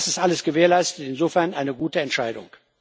Das ist alles gewährleistet und insofern eine gute Entscheidung.